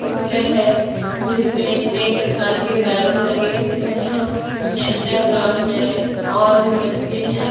Picture है जिसमें कई प्रकार के बैलून लगे हुए हैं। सैंटा क्रॉस है और जो बच्चे हैं --